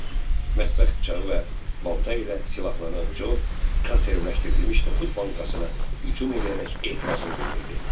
Mətbəx bıçağı və balta ilə silahlanan Co, konservləşdirilmiş noxud bankasına hücum eləyərək etirazını bildirdi.